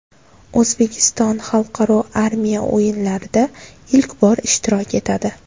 O‘zbekiston Xalqaro armiya o‘yinlarida ilk bor ishtirok etadi.